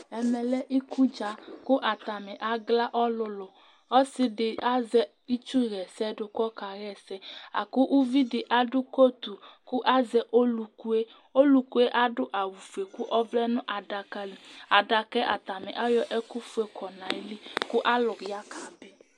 Ɛmɛlɛ iku dza kʋ atani agla ɔlʋlu Ɔsi di azɛ itsu ɣɛsɛdu kʋ ɔka ɣɛsɛ akʋ ʋvidí adu kotu kʋ azɛ ɔlu ku ye Ɔlu ku ye adu awu fʋe kʋ ɔvlɛ' nʋ adaka li Adaka yɛ atani ayɔ ɛku fʋe kɔ nʋ ayìlí kʋ alu ya kabi